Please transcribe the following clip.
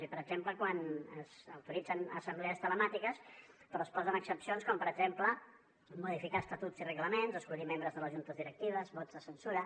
i per exemple autoritzen assemblees telemàtiques però es posen excepcions com per exemple modificar estatuts i reglaments escollir membres de les juntes directives vots de censura